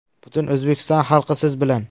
Butun O‘zbekiston xalqi siz bilan!